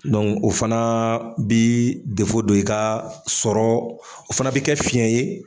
o fana bɛ dɔ i ka sɔrɔ o fana bɛ kɛ fiɲɛ ye.